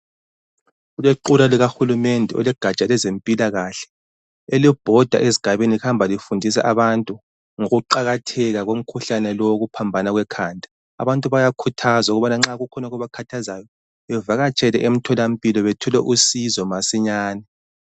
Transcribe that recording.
Kulequla likahulumende olwegatsha olwezempilakahle elibhoda ezigabeni lihamba lifundisa abantu ngokuqakatheka komkhuhlane lo owokuphambana kwekhanda. Abantu bayakhuthazwa ukuba nxa kukhona okubakhathazayo bavakatshele emtholampilo bethole usizo masinyane.